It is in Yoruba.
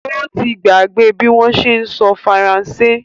Ó ti gbàgbé bí wọ́n ṣé ń sọ Faransé